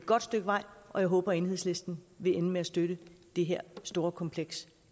godt stykke vej og jeg håber at enhedslisten vil ende med at støtte det her store kompleks